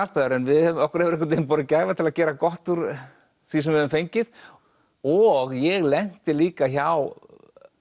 aðstæður en okkur hefur einhvern veginn borið gæfa til að gera gott úr því sem við höfum fengið og ég lenti líka hjá